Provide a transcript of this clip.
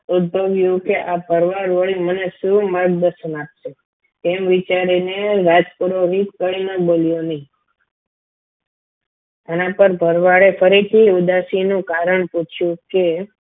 ઉદ્ભવ્યું કે આ ભરવાડ વળી મને શું માર્ગદર્શન આપશે તેમ વિચારીને રાજ પુરોહિત કઈ ના બોલ્યો આના પર ભરવાડે ફરીથી ઉદાસીનું કારણ પૂછ્યું કે